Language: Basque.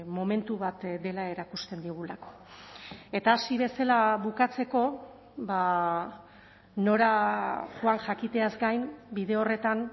momentu bat dela erakusten digulako eta hasi bezala bukatzeko nora joan jakiteaz gain bide horretan